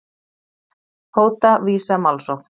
Hóta Visa málsókn